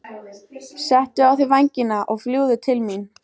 Settu á þig vængina og fljúgðu til mín.